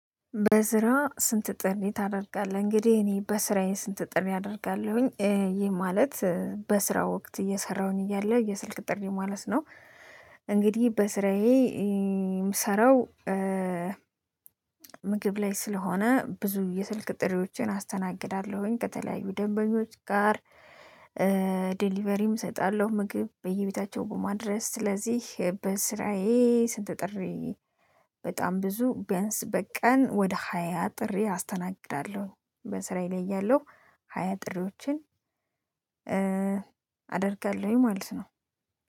በስራ ስንት ጥሪ ታደርጋለህ? እንግዲህ እኔ በስራዬ ስንት ጥሪ አደርጋለሁኝ ይህ ማለት በስራ ወቅት እየሰራሁኝ እያለ የስልክ ጥሪ ማለት ነው እንግዲህ በስራዬ የምሰራው ምግብ ላይ ስለሆነ ብዙ የስልክ ጥሪዎቼን አስተናግዳለሁኝ ከተለያዩ ደንበኞች ጋር ዴሊቨሪም እሰጣለው ምግብ በየቤታቸው በማድረስ ስለዚህ በስራዬ ስንት ጥሪ በጣም ብዙ ቢያንስ በቀን ወደ ሃያ ጥሪ አስተናግዳለው በስራዬ ላይ ያለው ሃያ ጥሪዎችን አደርጋለሁ ማለት ነው።